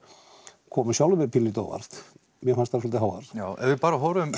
komi sjálfum mér pínulítið á óvart mér fannst svolítið háar ef við bara horfum